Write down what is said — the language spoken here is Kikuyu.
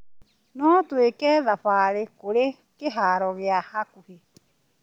No twĩke thabarĩ kũrĩ kĩharo gĩa hakuhĩ.